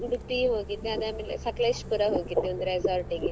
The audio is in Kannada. Udupi ಹೋಗಿದ್ದೆ ಅದಾದ್ಮೇಲೆ Sakaleshpura ಹೋಗಿದ್ದೆ ಒಂದು resort ಇಗೆ.